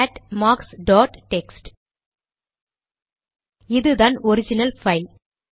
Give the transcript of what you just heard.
gate marks dot text இதுதான் original file